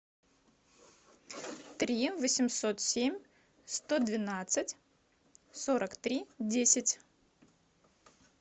три восемьсот семь сто двенадцать сорок три десять